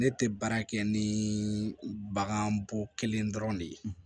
Ne tɛ baara kɛ ni bagan bɔ kelen dɔrɔn de ye